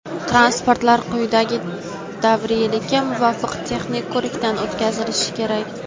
transportlar quyidagi davriylikka muvofiq texnik ko‘rikdan o‘tkazilishi kerak:.